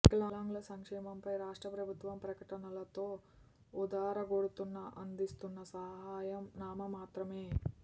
వికలాంగుల సంక్షేమంపై రాష్ట్ర ప్రభుత్వం ప్రకటనలతో ఊద రగొడుతున్నా అందిస్తున్న సహాయం నామమాత్రమే